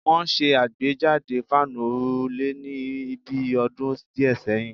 Wọ́n ṣe àgbéjáde fáànù òrùlé ní bi ọdún díẹ̀ sẹ́yìn